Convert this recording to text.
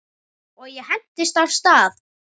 Og ég hentist af stað.